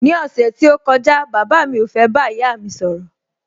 Ní ọ̀sẹ̀ tí ó kọjá, bàbá mi ò fẹ́ bá ìyá mi sọ̀rọ̀